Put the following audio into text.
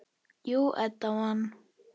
Jú, Edda man.